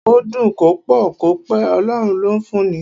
Kó dùn, kó pọ̀, kó pẹ́, Ọlọ́run ló ń fún ni.